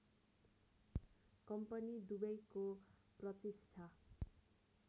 company दुबैको प्रतिष्ठा